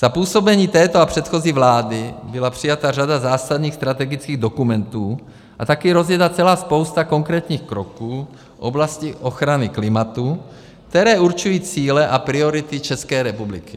Za působení této a předchozí vlády byla přijata řada zásadních strategických dokumentů a také rozjeta celá spousta konkrétních kroků v oblasti ochrany klimatu, které určují cíle a priority České republiky.